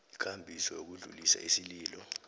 ikambiso yokudlulisa isililo